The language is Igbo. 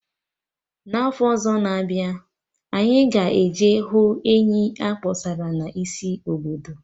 Na afọ na-abịa, anyị ga eje hụ enyi akpọsara na isi obodo